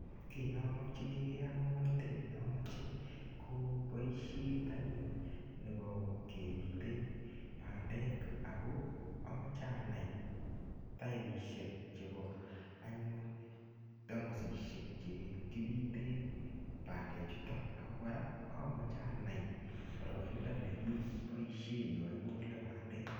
Kiy nomokyinige ak ngomnatet nomoche ko boisiet anyun nebo kepite bandek ago amoche anai taipisiek chebo anyun tamosisiek che kipiten bandechutok ago kora anai boroindo ne kiboisie yo igole bandek.